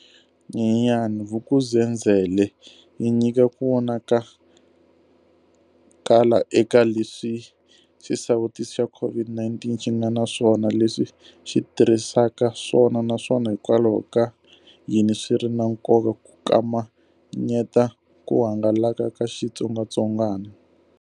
Nyenyenyana, Vuk'uzenzele yi nyika ku vonakala eka leswi xisawutisi xa COVID-19 xi nga na swona, leswi xi tirhisaka swona naswona hikwalaho ka yini swi ri na nkoka ku kamanyeta ku hangalaka ka xitsongwatsongwana.